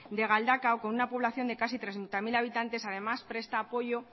de galdakao con una población de casi treinta mil habitantes además presta apoyo